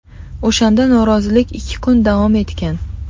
O‘shanda norozilik ikki kun davom etgan.